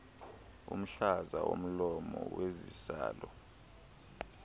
umhlaza womlomo wesizalo